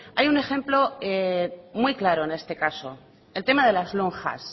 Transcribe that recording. hay un ejemplo muy claro en este caso el tema de las lonjas